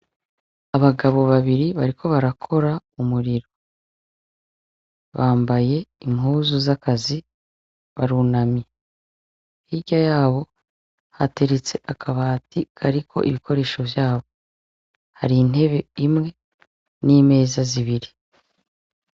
Abagabo babire bariko barakora umuriro bambaye impuzu z' akazi barunamye hirya yabo hateretse akabati kariko ibikoresho vyabo hari intebe imwe n' imeza zibiri.